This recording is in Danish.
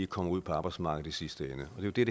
kommer ud på arbejdsmarkedet i sidste ende det er